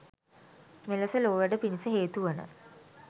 මෙලෙස ලෝවැඩ පිණිස හේතු වන